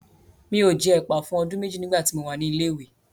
Mi ò jẹ ẹ̀pà fún ọdún méjì nígbà tí mo wà ní ilé ìwé.